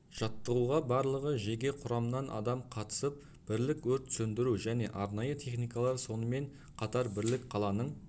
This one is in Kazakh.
жаттығуға барлығы жеке құрамнан адам қатысып бірлік өрт сөндіру және арнайы техникалар сонымен қатар бірлік қаланың